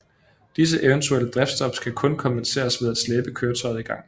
Disses eventuelle driftsstop kan kun kompenseres ved at slæbe køretøjet i gang